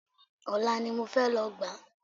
Ọ̀la ni mo fẹ́ lọ gbà á